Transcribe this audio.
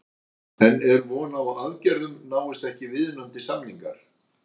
En er von á aðgerðum náist ekki viðunandi samningar?